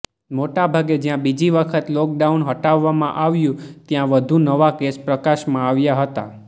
મોટાભાગે જ્યાં બીજી વખત લોકડાઉન હટાવવામાં આવ્યું ત્યાં વધુ નવા કેસ પ્રકાશમાં આવ્યા હતા